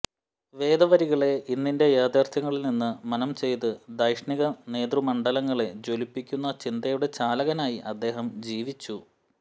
വേദവരികളെ ഇന്നിന്റെ യാഥാര്ഥ്യങ്ങളില്നിന്ന് മനനം ചെയ്ത് ധൈഷണിക നേതൃമണ്ഡലങ്ങളെ ജ്വലിപ്പിക്കുന്ന ചിന്തയുടെ ചാലകനായി അദ്ദേഹം ജീവിച്ചു